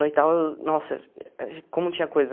No e tal, nossa, como tinha coisas.